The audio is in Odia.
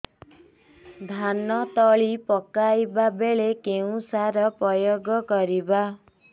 ଧାନ ତଳି ପକାଇବା ବେଳେ କେଉଁ ସାର ପ୍ରୟୋଗ କରିବା